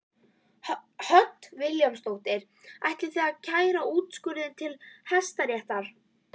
Hödd Vilhjálmsdóttir: Ætlið þið að kæra úrskurðinn til Hæstaréttar?